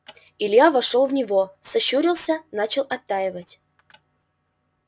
илья вошёл в него сощурился начал оттаивать